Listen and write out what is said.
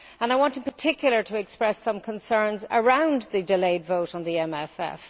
I want, in particular, to express some concerns about the delayed vote on the MFF.